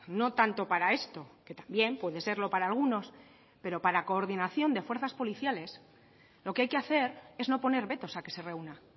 no tanto para esto que también puede serlo para algunos pero para coordinación de fuerzas policiales lo que hay que hacer es no poner vetos a que se reúna